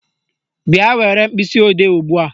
Bịa were mkpịsịodee ugbua